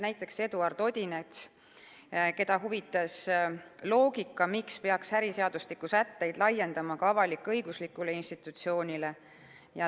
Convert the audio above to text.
Näiteks Eduard Odinets, keda huvitas loogika, küsis, miks peaks äriseadustiku sätteid laiendama avalik-õiguslikule institutsioonile.